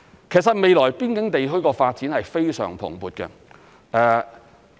其實未來邊境地區的發展是非常蓬勃的。